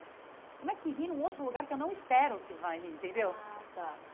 Como é que ri num outro lugar que eu não espero que vai rir entendeu? ah tá